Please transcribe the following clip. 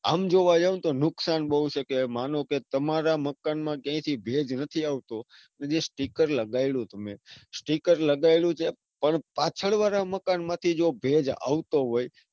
આમ જોવા જાઉં તો નુકસાન બૌ છે. કે માનો કે તમારા મકાન માં ભેજ નથી આવતો અને જે sticker લગાયેલુ તમે પણ પાછળવાળા મકાન માંથી જો ભેજ આવતો હોય.